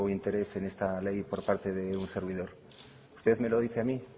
interés en esta ley por parte de un servidor usted me lo dice a mí